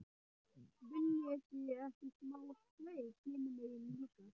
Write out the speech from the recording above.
VILJIÐI EKKI SMÁ SLEIK HINUM MEGIN LÍKA!